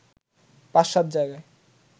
৫/৭ জায়গায়